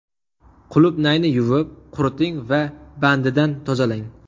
Qulupnayni yuvib, quriting va bandidan tozalang.